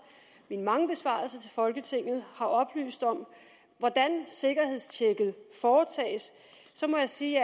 mine mange besvarelser til folketinget har oplyst om hvordan sikkerhedstjekket foretages så må jeg sige